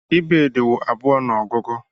Ibèdí wụ abụọ n'ogugu.